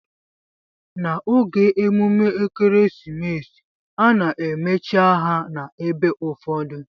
Na oge emume ekeresimesi ana emechi ahia na ebe ụfọdụ.